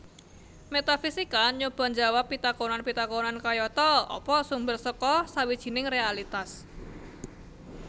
Métafisika nyoba njawab pitakonan pitakonan kayata Apa sumber saka sawijining réalitas